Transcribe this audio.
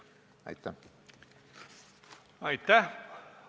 Aitäh!